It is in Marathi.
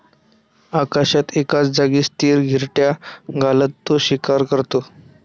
आकाशात एकाच जागी स्थिर घिरट्या घालत तो शिकार करतो.